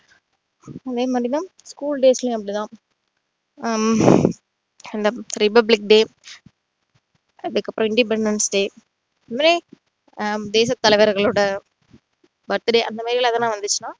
இங்கேயும் அப்படித்தான் school days லயும் அப்படித்தான் ஹம் republic day அதுக்கு அப்புறம் independance day இப்படி ஆஹ் இப்படி பல பேர்களோட birthday அந்த மாதிரியெல்லாம் எதுனா வந்துச்சுனா